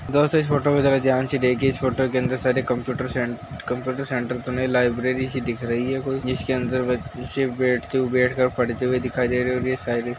दोस्तों इस फोटो को ज़रा ध्यान से देखिये इस फोटो के अंदर सारे कंप्यूटर सेन कंप्यूटर सेंटर तो नहीं लाइब्रेरी सी दिख रही है। कोई जिसके अंदर बच्चे बैठते बैठ के पढ़ते हुए दिखाई दे रहे हैं अब ये सारी --